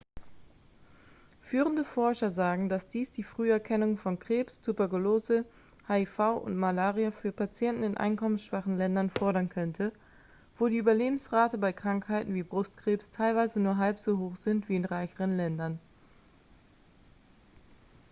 führende forscher sagen dass dies die früherkennung von krebs tuberkulose hiv und malaria für patienten in einkommensschwachen ländern fördern könnte wo die überlebensraten bei krankheiten wie brustkrebs teilweise nur halb so hoch sind wie in reicheren ländern